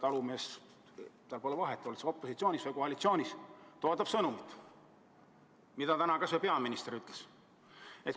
Talumehel pole vahet, oled sa opositsioonis või koalitsioonis, ta ootab sõnumit, mida täna peaminister ütles.